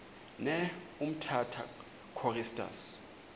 ne umtata choristers